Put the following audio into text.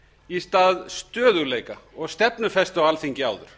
í stað stöðugleika og stefnufestu á alþingi áður